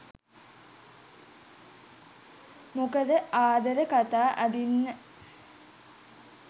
මොකද ආදර කතා අඳින්න.